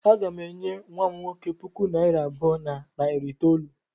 Aga m enye nwa m nwoke puku naịra abụọ na narị itoolu.